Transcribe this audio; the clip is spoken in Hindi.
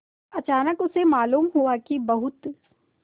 अचानक उसे मालूम हुआ कि बहुत